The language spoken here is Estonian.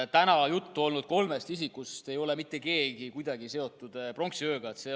Täna juttu olnud kolmest isikust ei ole mitte keegi mitte kuidagi seotud pronksiööga.